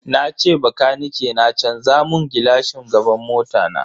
Nace bakanike na canza mun gilashin gaban mota na.